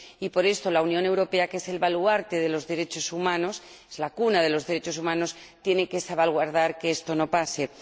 por eso la Unión Europea, que es el baluarte de los derechos humanos, la cuna de los derechos humanos, tiene que evitar que esto suceda.